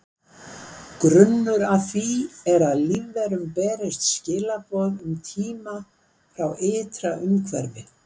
Grunnur að því er að lífverum berist skilaboð um tíma frá ytra umhverfi.